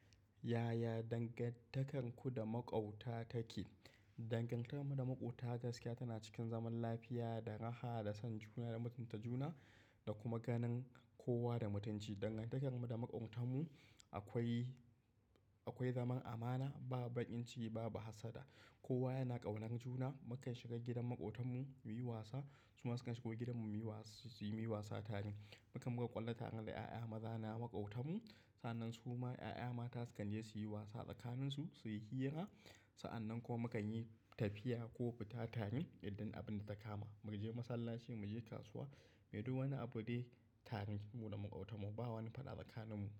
Yaya dangantakarku da maƙwabta take? Dangantakarmu da maƙwabta gaskiya tana cikin zaman lafiya, da raha, da son juna da mutunta juna da kuma ganin kowa da mutunci. Dangantakarmu da maƙwabtanmu akwai, akwai zaman amana, babu bakin ciki, babu hassada. Kowa yana ƙaunar juna. Mukan shiga gidan maƙwabtanmu muyi wasa, su ma sukan shiga gidanmu muyi wasa, su yi wasa tare. Mukan, buga ƙwallo tare da ƴaƴa maza na maƙwabtanmu. Sa'nan su ma ƴaƴa mata sukan je su yi wasa tsakaninsu, su yi hira. Sa'an nan kuma mukanyi tafiya ko fita tare idan abin da ta kama. Muje masallaci, muje kasuwa, muyi duk wani abune tare mu da maƙwabtanmu. Babu wani faɗa tsakaninmu.